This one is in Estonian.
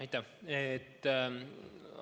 Aitäh!